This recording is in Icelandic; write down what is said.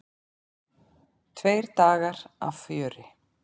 Tveir dagar af fjöri.